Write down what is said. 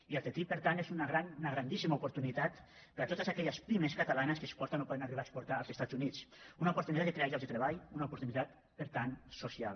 i el ttip per tant és una gran una grandíssima oportunitat per a totes aquelles pimes catalanes que exporten o poden arribar a exportar als estats units una oportunitat que crea llocs de treball una oportunitat per tant social